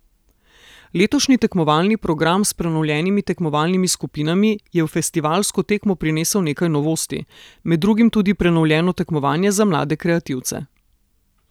Letošnji tekmovalni program s prenovljenimi tekmovalnimi skupinami je v festivalsko tekmo prinesel nekaj novosti, med drugim tudi prenovljeno tekmovanje za mlade kreativce.